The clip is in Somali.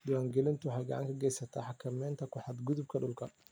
Diiwaangelintu waxay gacan ka geysataa xakamaynta ku xadgudubka dhulka.